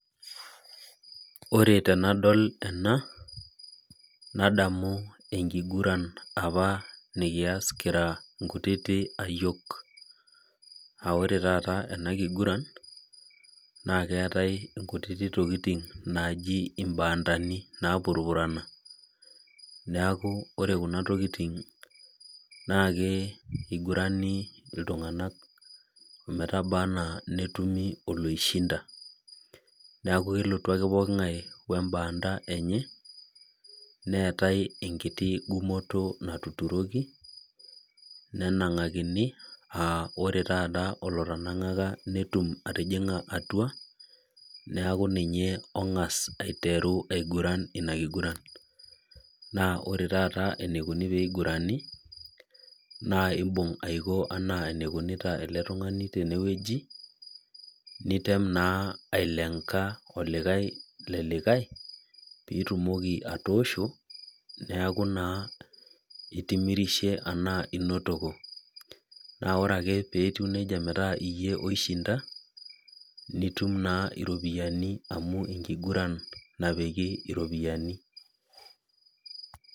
Ore temadol ena nadamu enkiguran apa nikias kira nkutiti ayiok aa ore apa enakigiran na keetae ntokitin naji imbaandani napurupurana neau ore kuna tokitin nakebkugurani ltunganak ometaba ana netumi oloishinda neaku kelotu ake poki ngae orbano lenye neetae enkiti gumoto naturokini nenangakini netum qtijinga atua neaku ninye ongas aiteru inakiguran ore enikuni na imbung aiko ana enikunita eletungani tenewueji nitem naa ailenga olikae lelikae pitumoki atoosho neaku naa itimirishe anaa inotoki na ore ake peaku nejia metaa iyie oishinda nitum naa iropiyiani amu enkiguran napiki ropiyani .